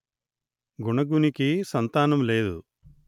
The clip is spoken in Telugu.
గుణగునికి సంతానం లేదు